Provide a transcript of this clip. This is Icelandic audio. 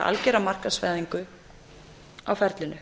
algera markaðsvæðingu á ferlinu